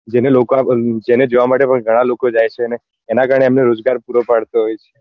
જે થી લોકો ને તેને જોવા માટે પણ ગણા લોકો જાય છે ને અને એના કારણે એમનો રોજગાર પૂરો પડતો હોય છે